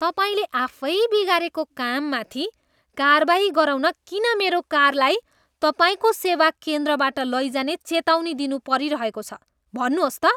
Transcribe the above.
तपाईँले आफै बिगारेको काममाथि कारवाही गराउन किन मेरो कारलाई तपाईँको सेवा केन्द्रबाट लैजाने चेतावनी दिनु परिरहेको छ? भन्नुहोस् त?